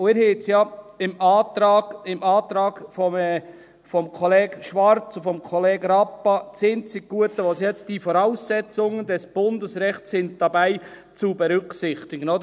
Und Sie haben es ja im Antrag von Kollege Schwarz und Kollege Rappa: das einzig Gute, dass es jetzt «Die Voraussetzungen des Bundesrechts sind dabei zu berücksichtigen»… Oder?